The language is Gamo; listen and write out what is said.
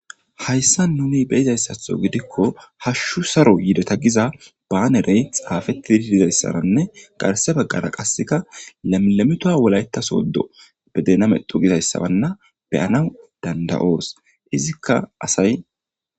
Haysan nun beyizaysatho gidikon hashu Saro yideta giza banerey xafeitid dizaysanne garse bagara qase lemimituwa wolayta sodo be dena mecxu gizaysa beyanaw danda'os , izzika asay ..